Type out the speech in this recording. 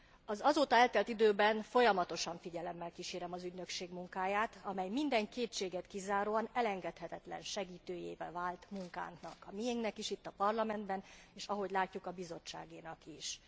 Az azóta eltelt időben folyamatosan figyelemmel kísérem az ügynökség munkáját, amely minden kétséget kizáróan elengedhetetlen segítőjévé vált munkánknak, a miénknek is itt a Parlamentben, és ahogy látjuk, a Bizottságénak is.